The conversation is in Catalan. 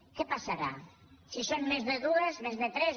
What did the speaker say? què passarà si en són més de dues més de tres